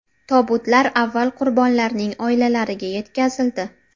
Tobutlar avval qurbonlarning oilalariga yetkazildi.